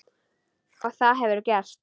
Og það hefurðu gert.